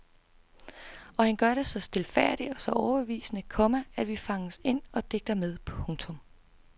Og han gør det så stilfærdigt og så overbevisende, komma at vi fanges ind og digter med. punktum